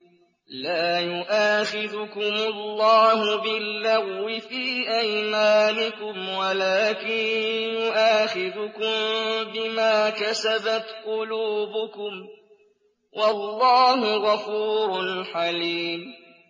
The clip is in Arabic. لَّا يُؤَاخِذُكُمُ اللَّهُ بِاللَّغْوِ فِي أَيْمَانِكُمْ وَلَٰكِن يُؤَاخِذُكُم بِمَا كَسَبَتْ قُلُوبُكُمْ ۗ وَاللَّهُ غَفُورٌ حَلِيمٌ